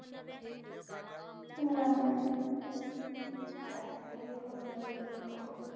अस हे करून नाही घेत ग